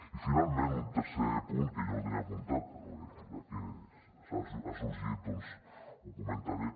i finalment un tercer punt que jo no el tenia apuntat però ja que ha sorgit doncs el comentaré